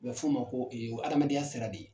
U bɛ f'o ma ko hadamadenya sira de.